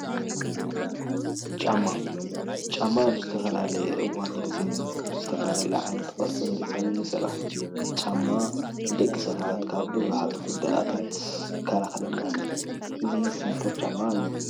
ጫማ፡- ጫማ ኣብ ዝተፈላለየ እዋንን ጊዜን ብዝተፈላለየ ዓይነት ቅርፅን ዲዛይንን ይስራሕ፡፡ ጫማ ንደቂ ሰባት ካብ ብዙሓት ጉዳድኣታት ይከላኸለልና፡፡ እዚ ሲኒከር ጫማ እዩ፡፡